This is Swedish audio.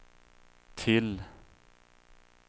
till